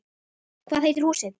Hvað heitir húsið?